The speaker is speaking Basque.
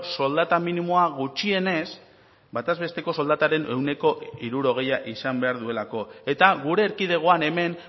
soldata minimoa gutxienez bataz besteko soldataren ehuneko hirurogeia izan behar duelako eta gure erkidegoan hemen